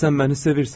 Sən məni sevirsən.